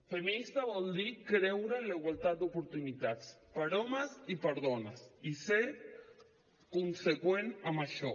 feminista vol dir creure en la igualtat d’oportunitats per homes i per dones i ser conseqüent amb això